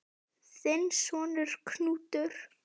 Þinn sonur, Knútur.